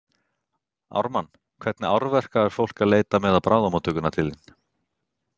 Ármann, hvernig áverka er fólk að leita með á bráðamóttökuna til þín?